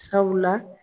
Sabula